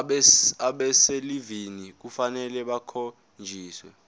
abaselivini kufanele bakhonjiswe